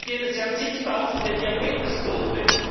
Es gibt jedes Jahr zigtausende Diabetestote.